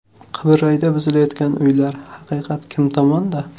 Qibrayda buzilayotgan uylar: haqiqat kim tomonda?.